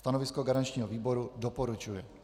Stanovisko garančního výboru: doporučuje.